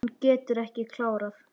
Hún getur ekki klárað.